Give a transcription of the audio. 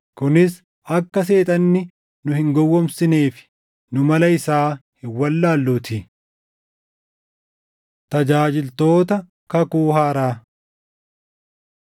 kunis akka Seexanni nu hin gowwoomsineefi. Nu mala isaa hin wallaalluutii. Tajaajiltoota Kakuu Haaraa